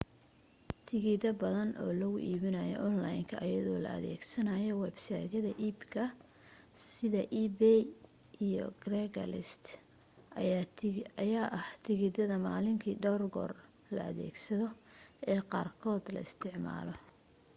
tikidho badan oo lagu iibiyo onlaynka iyadoo la adeegsanayo websaydhyada iibka sida ebay iyo craigslist ayaa ah tikidhada maalinki dhowr goor la adeegsado ee qaarkood la isticmaalay